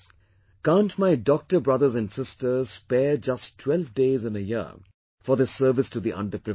Can't my doctor brothers and sisters spare just 12 days in a year for this service to the under privileged